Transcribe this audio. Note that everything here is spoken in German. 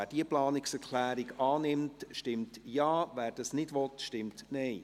Wer diese Planungserklärung annimmt, stimmt Ja, wer dies nicht will, stimmt Nein.